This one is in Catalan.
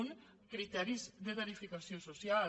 un criteris de tarifació social